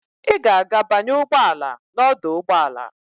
Ị ga-aga banye ụgbọ ala n'ọdụ ụgbọ ala.